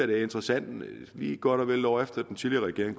det er interessant at man lige godt og vel et år efter den tidligere regering